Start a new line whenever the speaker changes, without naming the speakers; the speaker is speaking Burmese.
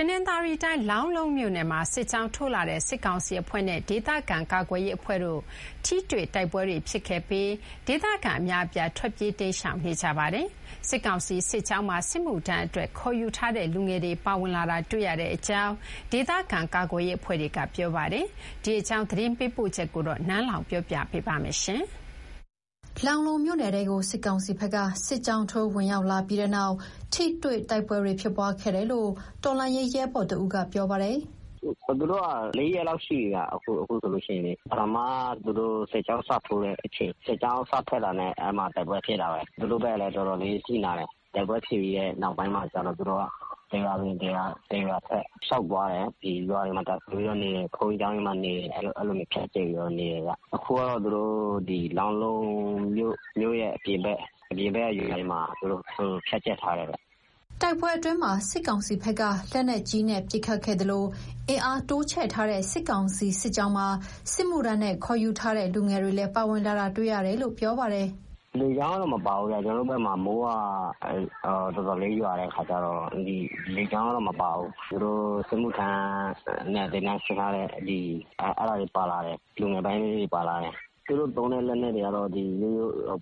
တနင်္သာရီတိုင်း၊ လောင်းလုံးမြို့နယ်မှာ စစ်ကြောင်းထိုးလာတဲ့ စစ်ကောင်စီအဖွဲ့နဲ့ ဒေသခံကာကွယ်ရေးအဖွဲ့တို့ ထိတွေ့တိုက်ပွဲတွေဖြစ်ခဲ့ပြီး ဒေသခံတော်တော်များများ ထွက်ပြေးတိမ်းရှောင်နေကြပါတယ်။ စစ်ကောင်စီစစ်ကြောင်းမှာ စစ်မှုထမ်းအတွက် ခေါ်ယူထားတဲ့ လူငယ်တွေပါဝင်လာတာ တွေ့ရတယ်လို့ ဒေသခံကာကွယ်ရေးအဖွဲ့က ပြောပါတယ်။ ဒီအကြောင်း သတင်းပေးပို့ထားတာကို နန်းလောင်ဝ်က တင်ပြပေးထားပါတယ်။ လောင်းလုံးမြို့နယ်ထဲကို စစ်ကောင်စီဘက်က စစ်ကြောင်းထိုးဝင်ရောက်လာပြီးနောက် ထိတွေ့တိုက်ပွဲတွေ ဖြစ်ပွားခဲ့တယ်လို့ တော်လှန်ရေးရဲဘော်တဦးက ပြောပါတယ်
။ "သူတို့က ၄ ရက်လောက် ရှိပြီဗျ။ ပထမ သူတို့စစ်ကြောင်းစထွက်တာနဲ့ အဲဒီမှာ တိုက်ပွဲဖြစ်တာပဲ။ သူတို့ဘက်ကလည်း တော်တော်လေး အထိနာတယ်။ တိုက်ပွဲဖြစ်ပြီးတဲ့နောက်ပိုင်းမှာကျတော့ သူတို့က တရွာဝင်တရွာထွက် လျှောက်သွားတယ်။ ရွာတွေမှာ တပ်စွဲပြီးတော့နေတယ်။ ဘုန်းကြီးကျောင်းတွေမှာ နေတယ်။ အဲဒီလိုမျိုး ဖြန့်ကျဲပြီးတော့ နေတယ်ဗျ။ အခုကတော့ သူတို့ လောင်းလုံးမြို့ရဲ့အပြင်ဘက်ကရွာတွေမှာ ဖြန့်ကျက်ထားတယ်ဗျ။
" တိုက်ပွဲအတွင်းမှာ စစ်ကောင်စီဘက်က လက်နက်ကြီးပစ်ခတ်ခဲ့သလို အင်အားတိုးချဲ့ထားတဲ့ စစ်ကောင်စီစစ်ကြောင်းမှာ စစ်မှုထမ်းနဲ့ခေါ်ယူထားတဲ့ လူငယ်တွေလည်းပါဝင်လာတာတွေ့ရတယ်လို့ ပြောပါတယ်။ "
လေကြောင်းကတော့ မပါဘူးဗျ။ ကျနော်တို့ဘက်မှာ မိုးတော်တော်ရွာတော့ လေကြောင်းကတော့မပါဘူး။ သူတို့စစ်မှုထမ်းနဲ့ သင်တန်းဆင်းထားတဲ့ လူငယ်ပိုင်းလေးတွေပါလာတယ်။ သူတို့သုံးတဲ့လက်နက်တွေကတော့